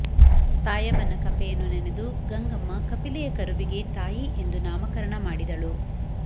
ತಾಯವ್ವನ ಕಪೆಯನ್ನು ನೆನೆದು ಗಂಗಮ್ಮ ಕಪಿಲೆಯ ಕರುವಿಗೆ ತಾಯಿ ಎಂದು ನಾಮಕರಣ ಮಾಡಿದಳು